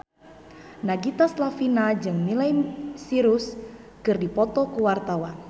Nagita Slavina jeung Miley Cyrus keur dipoto ku wartawan